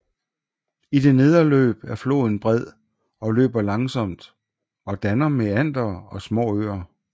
I det nedre løb er floden bred og løber langsomt og danner meandere og små øer